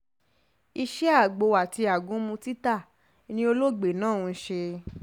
iṣẹ́ agbo àti agúnmu títa ni olóògbé náà ń ṣe